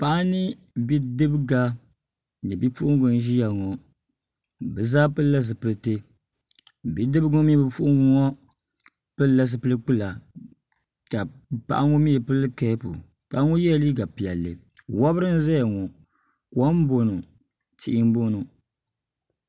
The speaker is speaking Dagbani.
paɣa ni bidibga ni bipuɣungi n ʒiya ŋɔ bi zaa pilila zipiliti bidibgi ŋɔ mini bipuɣungi ŋɔ pilila zipili kpula ka paɣa ŋɔ mii pili keepu paŋa ŋɔ yɛla liiga piɛlli kom n bɔŋɔ tihi n bɔŋɔ